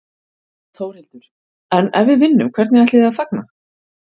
Þórhildur: En ef við vinnum, hvernig ætlið þið að fagna?